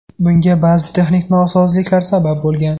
Bunga ba’zi texnik nosozliklar sabab bo‘lgan.